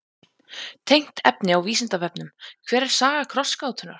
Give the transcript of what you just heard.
Tengt efni á Vísindavefnum: Hver er saga krossgátunnar?